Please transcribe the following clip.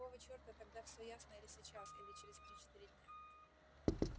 какого черта тогда все ясно или сейчас или через три-четыре дня